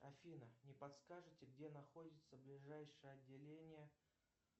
афина не подскажете где находится ближайшее отделение